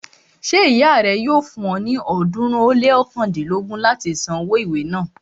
Ṣé ìyá rẹ yóò fún ọ ní ọ̀ọ́dúnrún ó lé ọ̀kándínlógún láti san owó ìwé náà